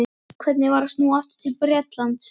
Hvernig var að snúa aftur til Bretlands?